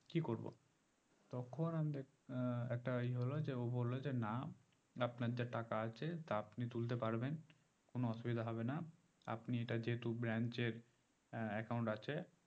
কি করবো তখন আমি ডেক আহ একটা ই হলো যে ও বললো যে যে না আপনার যে টাকা আছে সেটা আপনি তুলতে পারবেন কোনো অসুবিধা হবে না আপনি এটা যেহতো branch এর আহ account আছে